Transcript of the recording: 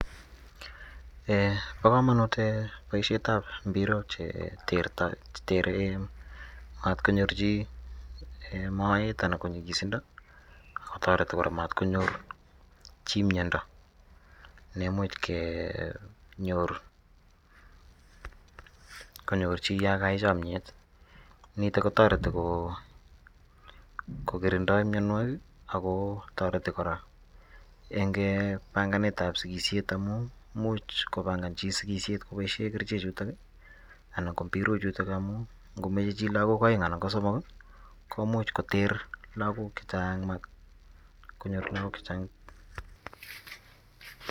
Ee bokomonut ee boishetab imbirok ee chetere mat konyor chi moet anan konyilosindo ak kotoreti koraa mat konyor chi miondo nemuch kenyor, chi yon kayai chomiet niton kotoreti kokirindoi mionuokik ako toreti koraa en banganetab sikishet imuch kobangan chi sikishet koboishen kerichechutok ii anan ko mbirochuton ii amun ngomoche chi lagok oeng anan kosomok ii komuch koter lagok chechang ii mot konyor lagok chechang.